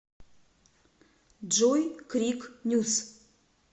джой крик нюс